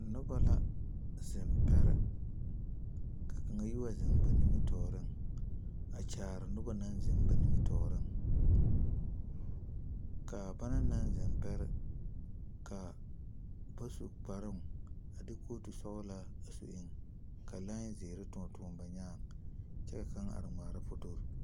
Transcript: Noba la zeŋ pɛre, ka kaŋa yi wa zeŋ ba nimitɔreŋ a kyaare noba naŋ zeŋ ba nimitɔreŋ kaa bana naŋ zeŋ pɛre su kparoo a de kooti sɔglaa a su eŋ kɔɔ toɔne toɔne zeɛre ba nyaaŋ kyɛka kaŋa are ŋmaara foto